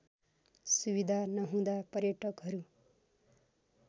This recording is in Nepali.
सुविधा नहुँदा पर्यटकहरू